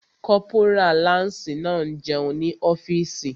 Kọ́pórà láǹsì náà n jẹun ní ọ́fìsì